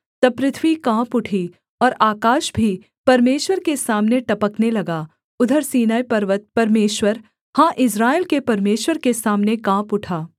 तब पृथ्वी काँप उठी और आकाश भी परमेश्वर के सामने टपकने लगा उधर सीनै पर्वत परमेश्वर हाँ इस्राएल के परमेश्वर के सामने काँप उठा